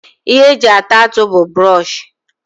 Ihe eji ata atụ bu buroshi